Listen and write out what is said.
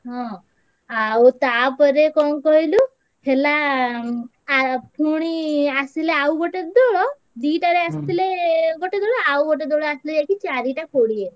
ହଁ ଆଉ ତାପରେ କଣ କହିଲୁ ହେଲା ଆ~ ପୁଣି ଆସିଲେ ଆଉଗୋଟେ ଦୋଳ ଦିଟାରେ ଆସିଥିଲେ ଗୋଟେ ଦୋଳ ଆଉଗୋଟେ ଦୋଳ ଆସିଲେ ଯାଇ ଚାରିଟା କୋଡିଏରେ।